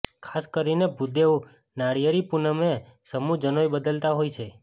ખાસ કરીને ભુદેવો નાળિયેરી પૂનમે સમૂહ જનોઈ બદલતા હોય છે